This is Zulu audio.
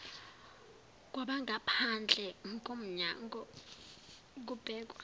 kwabangaphandle komnyanngo kubhekwa